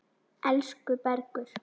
Elsku Bergur.